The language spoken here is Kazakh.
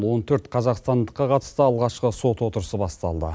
он төрт қазақстандыққа қатысты алғашқы сот отырысы басталды